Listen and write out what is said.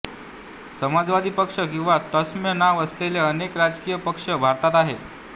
समाजवादी पक्ष किंवा तत्सम नाव असलेले अनेक राजकीय पक्ष भारतात आहेत